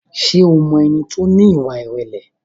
Ṣé o mọ ẹni tí ó ní ìwà ìrẹ̀lẹ̀?